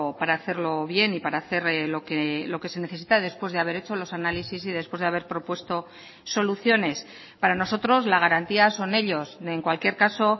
para hacerlo bien y para hacer lo que se necesita después de haber hecho los análisis y después de haber propuesto soluciones para nosotros la garantía son ellos en cualquier caso